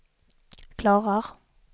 klarar